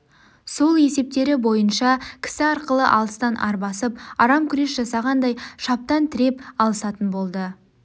сол есептері бойынша кісі арқылы алыстан арбасып арам күрес жасағандай шаптан тіреп алысатын болды